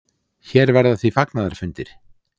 Hér verða því fagnaðarfundir.